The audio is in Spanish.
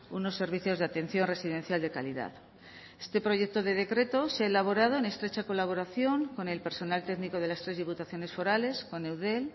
unos servicios de atención residencial de calidad este proyecto de decreto se ha elaborado en estrecha colaboración con el personal técnico de las tres diputaciones forales con eudel